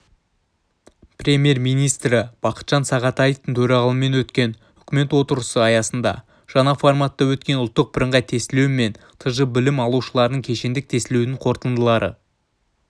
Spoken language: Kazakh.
премьер-министрі бақытжан сағынтаевтың төрағалығымен өткен үкімет отырысы аясында жаңа форматта өткен ұлттық бірыңғай тестілеу мен тж білім алушыларының кешендік тестілеуінің қорытындылары